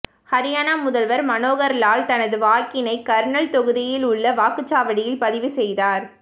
ஹரியானா முதல்வர் மனோகர் லால் தனது வாக்கினை கர்னல் தொகுதியில் உள்ள வாக்குச்சாவடியில் பதிவு செய்தார்